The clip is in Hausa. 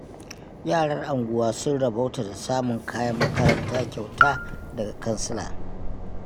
Yaran unguwa sun rabauta da samun kayan makaranta kyauta daga kansila.